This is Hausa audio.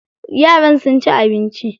Yaran sun ci abinci.